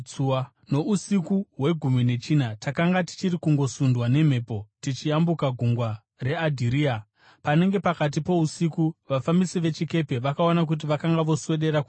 Nousiku hwegumi nechina, takanga tichiri kungosundwa nemhepo tichiyambuka Gungwa reAdhiria, panenge pakati pousiku vafambisi vechikepe vakaona kuti vakanga voswedera kunyika.